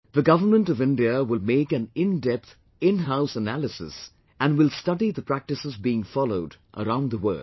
The Government of India will make an in depth inhouse analysis and will study the practices being followed around the world